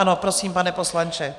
Ano, prosím, pane poslanče.